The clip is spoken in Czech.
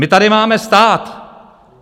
My tady máme stát.